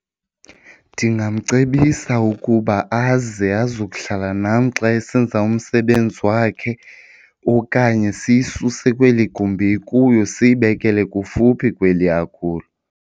Ndingamcebisa ukuba aze azokuhlala nam xa esenza umsebenzi wakhe okanye siyisuse kweli gumbi ikuyo siyibekele kufuphi kweli akulo.